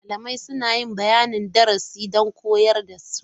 Malamai suna yin bayanin darasi don koyarwa da su.